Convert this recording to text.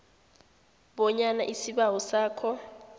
bonyana isibawo sakho